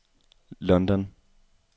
London